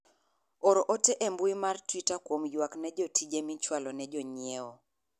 or ote e mbui mar twita kuom ywak ne tije michwalo ne jonyiewo